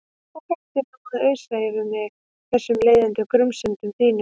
Og hættu nú að ausa yfir mig þessum leiðinda grunsemdum þínum.